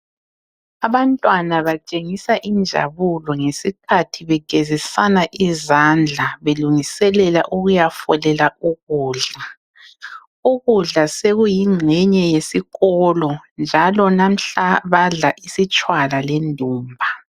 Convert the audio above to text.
Abantwana batshengisa injabulo ngesikhathi begezisana izandla belungiselela ukuyafolela ukudla. Ukudla sokuyingxenye yesikolo njalo namuhla badla isitshwala le ndumba.